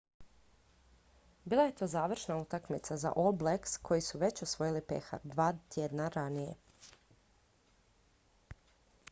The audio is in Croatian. bila je to završna utakmica za all blacks koji su već osvojili pehar dva tjedna ranije